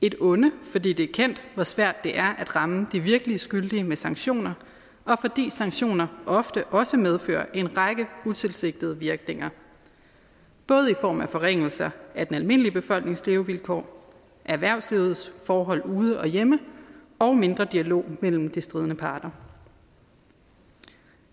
et onde fordi det er kendt hvor svært det er at ramme de virkelig skyldige med sanktioner og fordi sanktioner ofte også medfører en række utilsigtede virkninger både i form af forringelser af den almindelige befolknings levevilkår erhvervslivets forhold ude og hjemme og mindre dialog mellem de stridende parter